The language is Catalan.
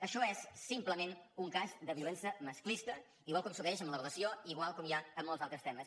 això és simplement un cas de violència masclista igual que succeeix amb l’ablació i igual com hi és en molts altres temes